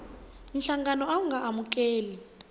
nhlangano a wu nga amukeli